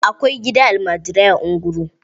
Akwai gidan almajirai a Nguru.